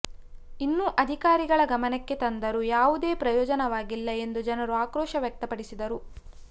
ಇನ್ನು ಅಧಿಕಾರಿಗಳ ಗಮನಕ್ಕೆ ತಂದರು ಯಾವುದೇ ಪ್ರಯೋಜನವಾಗಿಲ್ಲ ಎಂದು ಜನರು ಆಕ್ರೋಶ ವ್ಯಕ್ತಪಡಿಸಿದರು